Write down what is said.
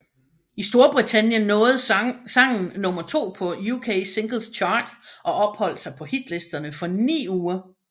I Storbritannien nåede sangen nummer to på UK Singles Chart og opholdt sig på hitlisterne for ni uger